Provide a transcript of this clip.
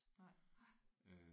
Nej nej